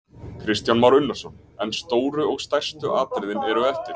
Kristján Már Unnarsson: En stóru og stærstu atriðin eru eftir?